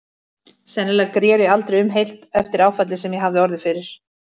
Sennilega greri aldrei um heilt eftir áfallið sem ég hafði orðið fyrir.